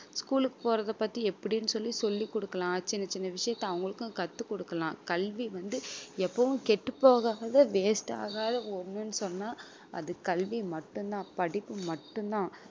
school க்கு போறத பத்தி எப்படின்னு சொல்லி சொல்லி கொடுக்கலாம் சின்ன சின்ன விஷயத்தை அவங்களுக்கும் கத்து கொடுக்கலாம் கல்வி வந்து எப்பவும் கெட்டுப்போகாத waste ஆகாத ஒண்ணுன்னு சொன்னா அது கல்வி மட்டும்தான் படிப்பு மட்டும்தான்